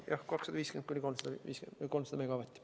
Jah, 250–300 megavatti.